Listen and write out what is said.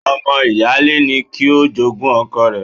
Ọmọ ìyáálé ni kí o jogún ọkọ rẹ.